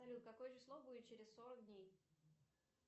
салют какое число будет через сорок дней